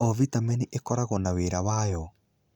O vitamini Ĩkoragwo na wĩra wayo.